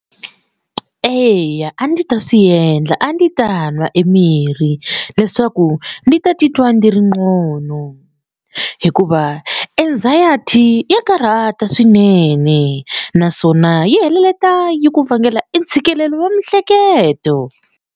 Eya a ndi ta swi endla a ndi ta nwa e mirhi leswaku ndzi ta titwa ndzi ri ngcono hikuva anxiety ya karhata swinene naswona yi heleketa yi ku vangela i ntshikelelo wa miehleketo.